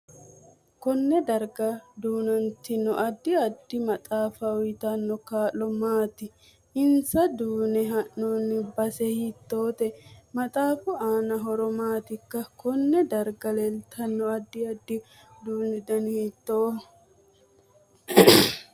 Konne darag duunantino addi addi maxaafa uyiitanno kaa'lo maati insa duune heenooni base hiitoote maxaafu aano horo maati konne darga leeltanno addi addi uduunu dani hiitoho